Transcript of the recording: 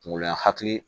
Kunkolo lankati